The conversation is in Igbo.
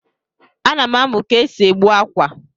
A nam amu ka esi egbu akwa.